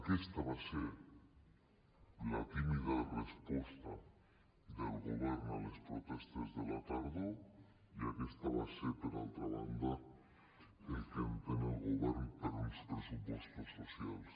aquesta va ser la tímida resposta del govern a les protestes de la tardor i això va ser per altra banda el que entén el govern per uns pressupostos socials